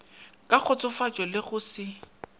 ka kgotsofatšo le go se